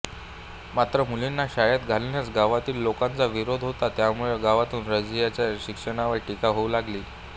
मात्र मुलींना शाळेत घालण्यास गावातील लोकांचा विरोध होता त्यामुळे गावातून रझियाच्या शिक्षणावर टीका होऊ लागली